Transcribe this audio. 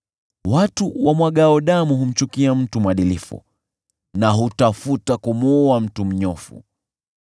Watu wamwagao damu humchukia mtu mwadilifu na hutafuta kumuua mtu mnyofu.